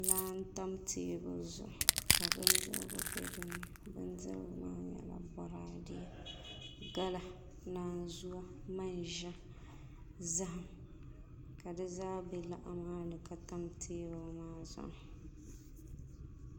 Laa n tam teebuli zuɣu ka bindirigu bɛ dinni bindirigu maa nyɛla boraadɛ gala naanzuwa manʒa zaham ka di zaa bɛ laa maa ni ka tam teebuli maa zuɣu